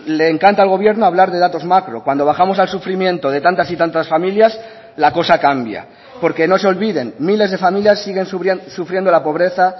le encanta al gobierno hablar de datos macro cuando bajamos al sufrimiento de tantas y tantas familias la cosa cambia porque no se olviden miles de familias siguen sufriendo la pobreza